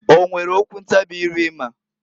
O nwere okwu ntabị ire ịma?